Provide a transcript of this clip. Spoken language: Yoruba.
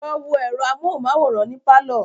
Lọ wo ẹ̀rọ amóhunmáwòrán ní pálọ̀